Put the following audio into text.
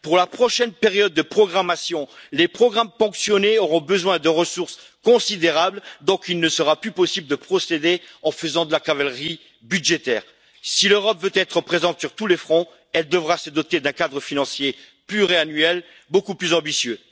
Pour la prochaine période de programmation, les programmes ponctionnés auront besoin de ressources considérables, donc il ne sera plus possible de procéder en faisant de la cavalerie budgétaire. Si l'Europe veut être présente sur tous les fronts, elle devra se doter d'un cadre financier pluriannuel beaucoup plus ambitieux.